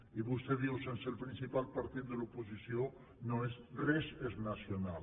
i vostè diu sense el principal partit de l’oposició res és nacional